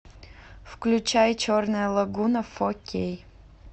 включай черная лагуна фо кей